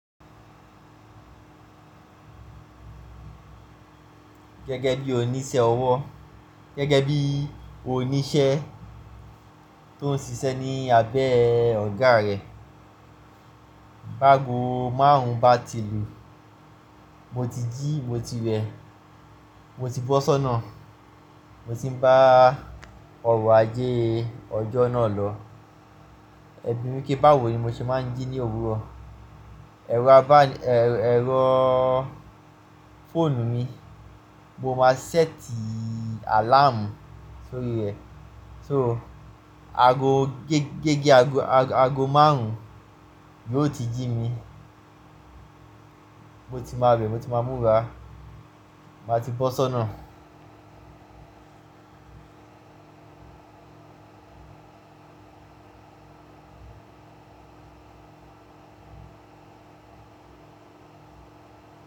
Gẹ́gẹ́ bí oníṣẹ́ ọwọ́, gẹ́gẹ́ bí oníṣẹ́ tó ń ṣiṣẹ́ ní abẹ́ ọ̀gá rẹ, báago márùn-ún bá ti lù, mo ti jí, mo ti wẹ̀, mo ti bọ́ sónà, mo sì ń bá ọrọ̀ ajé ọjọ́ náà lọ. Ẹ̀bi mí pé bá wò ó ni mo ṣe máa ń jí ní òwúrọ̀. Ẹ̀rọ abán- ẹ̀, ẹ̀rọ fóònù mi, mo máa ṣẹ́ẹ̀tì àláàmù sórí rẹ̀. So ago, gégé ago, ago márùn-ún yóò ti jí mi. Mo ti máa wẹ̀, mo ti máa múra, màá ti bọ́ sọ́nà.